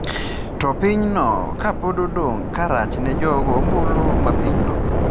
to pinyno ka pod odong' ka rach ne jago ombulu ma pinyno